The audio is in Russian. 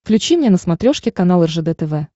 включи мне на смотрешке канал ржд тв